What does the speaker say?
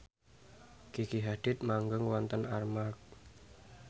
Gigi Hadid manggung wonten Armargh